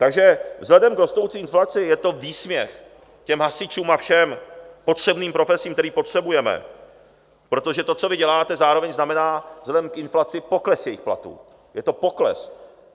Takže vzhledem k rostoucí inflaci je to výsměch těm hasičům a všem potřebným profesím, které potřebujeme, protože to, co vy děláte, zároveň znamená vzhledem k inflaci pokles jejich platů, je to pokles.